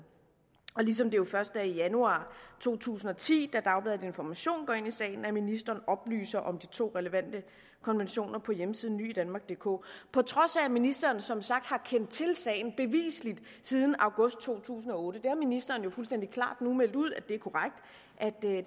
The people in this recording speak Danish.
ligesom det først er i januar to tusind og ti da dagbladet information går ind i sagen at ministeren oplyser om de to relevante konventioner på hjemmesiden nyidanmarkdk på trods af at ministeren som sagt bevisligt har kendt til sagen siden august to tusind og otte det har ministeren jo nu fuldstændig klart meldt ud